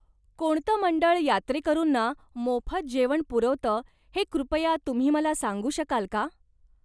कोणतं मंडळ यात्रेकरूंना मोफत जेवण पुरवतं हे कृपया तुम्ही मला सांगू शकाल का?